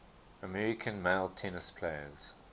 american male tennis players